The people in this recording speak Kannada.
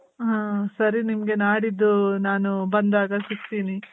ಹಾ , ಸರಿ ನಿಮ್ಗೆ ನಾಡಿದ್ದು ನಾನು ಬಂದಾಗ ಸಿಕ್ತೀನಿ.